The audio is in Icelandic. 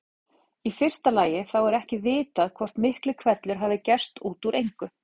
Í fyrsta lagi þá er ekki vitað hvort Miklihvellur hafi gerst út úr engu.